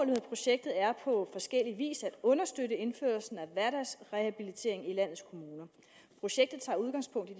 med projektet er på forskellig vis at understøtte indførelsen af hverdagsrehabilitering i landets kommuner projektet tager udgangspunkt i